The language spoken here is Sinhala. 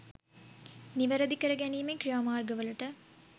නිවැරදි කර ගැනීමේ ක්‍රියාමාර්ගවලට